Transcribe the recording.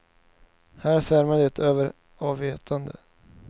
Här svämmar det över av vetande.